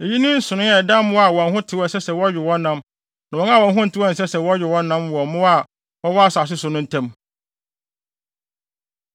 Eyi ne nsonoe a ɛda mmoa a wɔn ho tew a ɛsɛ sɛ wɔwe wɔn nam ne wɔn a wɔn ho ntew a ɛnsɛ sɛ wɔwe wɔn nam wɔ mmoa a wɔwɔ asase so no ntam.’ ”